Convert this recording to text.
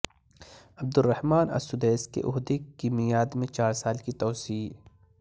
عبد Rahman al Sudais کے عہدے کی میعاد میں چار سال کی توسیع